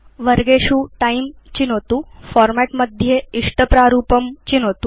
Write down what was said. वर्गेषु तिमे चिनोतु फॉर्मेट् मध्ये च इष्टप्रारूपं चिनोतु